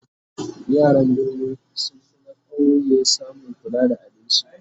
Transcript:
yaran birni sun finna ƙauye samun kula da abinci